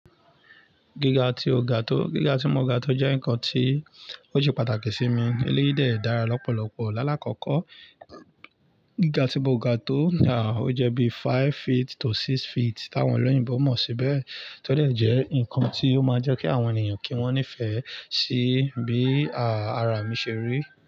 Gíga tí mo ga tó, gíga tí mo ga tó jẹ́ ǹkan tí ó ṣe pàtàkì sí mi, eléyìí dẹ̀ dára lọ́pọ̀lọpọ̀. Lálá kọ́kọ́, gíga tí mo ga tó ní à, ó jẹ́ bí five feet to six feet, tí àwọn ẹlẹ́yìnbo mọ̀ sí bẹ́ẹ̀. Tí ó dẹ̀ jẹ́ ǹkan tí ó máa jẹ́ kí àwọn ènìyàn kí wọ́n nífẹ̀ẹ́ sí bí à, ara mi ṣe rí.